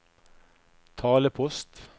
talepost